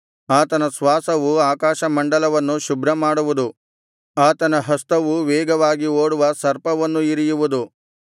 ಆತನ ಶ್ವಾಸವು ಆಕಾಶಮಂಡಲವನ್ನು ಶುಭ್ರಮಾಡುವುದು ಆತನ ಹಸ್ತವು ವೇಗವಾಗಿ ಓಡುವ ಸರ್ಪವನ್ನು ಇರಿಯುವುದು